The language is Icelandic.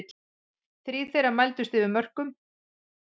Þrír þeirra mældust yfir mörkum